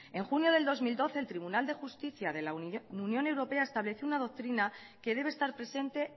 en junio de dos mil doce el tribunal de justicia de la unión europea estableció una doctrina que debe estar presente